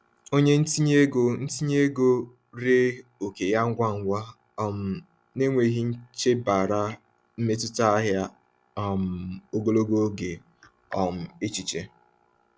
Onye ntinye ego ntinye ego ree oke ya ngwa ngwa um n’enweghị ichebara mmetụta ahịa um ogologo oge um echiche.